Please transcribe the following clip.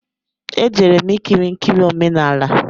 E jere m ikiri nkiri omenala